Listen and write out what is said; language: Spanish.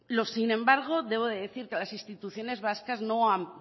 sin embargo debo decir que las instituciones vascas no han